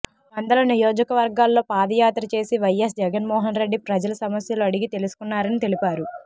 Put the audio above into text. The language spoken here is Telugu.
వందల నియోజకవర్గాల్లో పాదయాత్ర చేసి వైఎస్ జగన్మోహన్రెడ్డి ప్రజల సమస్యలు అడిగి తెలుసుకున్నారని తెలిపారు